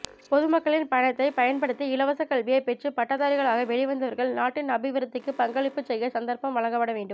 பொதுமக்களின் பணத்தை பயன்படுத்தி இலவச கல்வியை பெற்று பட்டதாரிகளாக வெளிவந்தவர்கள் நாட்டின் அபிவிருத்திக்கு பங்களிப்புச் செய்ய சந்தர்ப்பம் வழங்கப்பட வேண்டும்